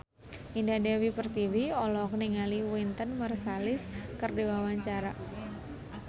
Indah Dewi Pertiwi olohok ningali Wynton Marsalis keur diwawancara